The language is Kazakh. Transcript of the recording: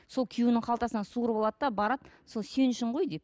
сол күйеуінің қалтасынан суырып алады да барады сол сен үшін ғой деп